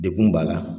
Degun b'a la